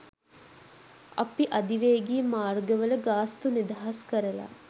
අපි අධිවේගී මාර්ගවල ගාස්තු නිදහස් කරලා